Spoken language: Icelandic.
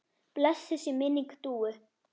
Blessuð sé minning Dúu.